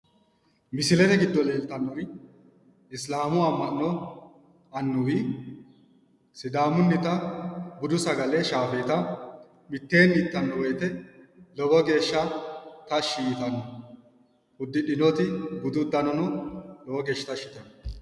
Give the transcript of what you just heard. Misilete giddo leeltannori isilaamu amma'no annuwi sidaamunnita budu sagale shaafeeta mitteenni ittanno woyite lowo geesha tashi yitanno uddidhinoti budu uddanono lowo geesha tashi yitanno